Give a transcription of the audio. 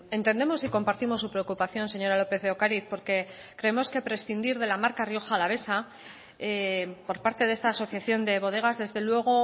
entendemos y compartimos su preocupación señora lópez de ocariz porque creemos que prescindir de la marca rioja alavesa por parte de esta asociación de bodegas desde luego